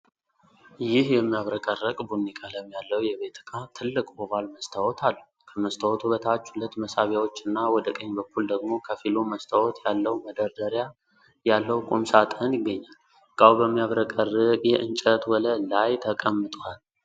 ይህ የሚያብረቀርቅ ቡኒ ቀለም ያለው የቤት ዕቃ ትልቅ ኦቫል መስታወት አለው። ከመስታወቱ በታች ሁለት መሳቢያዎች እና ወደ ቀኝ በኩል ደግሞ ከፊሉ መስታወት ያለው መደርደሪያ ያለው ቁም ሣጥን ይገኛል። ዕቃው በሚያብረቀርቅ የእንጨት ወለል ላይ ተቀምጧል።